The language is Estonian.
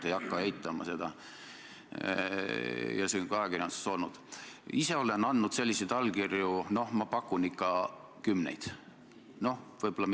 Küsimus puudutas seda, mida Jüri Ratas kui peaminister teeb siseministriga, kes on seadnud kahtluse alla uurimisorganite sõltumatuse.